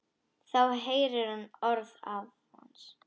Þá heyrir hún orð afans.